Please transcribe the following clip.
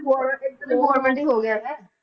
government ਹੀ ਹੋ ਗਿਆ ਇਹ।